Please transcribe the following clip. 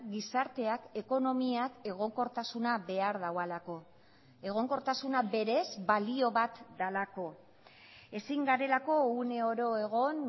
gizarteak ekonomiak egonkortasuna behar duelako egonkortasuna berez balio bat delako ezin garelako uneoro egon